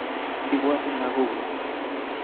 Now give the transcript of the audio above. Ibwotin lakokuk